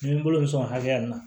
Ni n bolo bɛ sɔn haya nin na